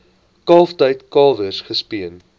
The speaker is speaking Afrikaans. kalftyd kalwers gespeen